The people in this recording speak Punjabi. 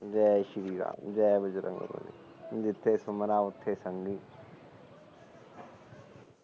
ਜੈ ਸ਼੍ਰੀ ਰਾਮ ਜੈ ਬੰਜਰੰਗ ਬਲੀ ਜਿਥੇ ਸੁਣਦਾ ਉਥੇ ਸੁਣਲੀ